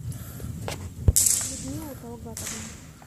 людмилу талгатовну